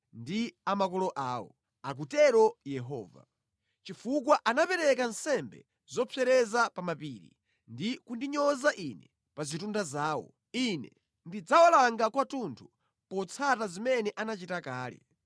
ndi a makolo awo,” akutero Yehova. “Chifukwa anapereka nsembe zopsereza pa mapiri ndi kundinyoza Ine pa zitunda zawo, Ine ndidzawalanga kwathunthu potsata zimene anachita kale.”